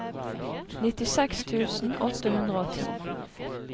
nittiseks tusen åtte hundre og ti